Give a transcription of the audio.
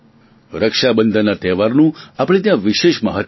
રક્ષાબંધનના તહેવારનું આપણે ત્યાં વિશેષ મહત્વ છે